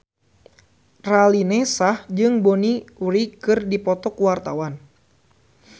Raline Shah jeung Bonnie Wright keur dipoto ku wartawan